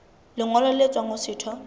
lengolo le tswang ho setho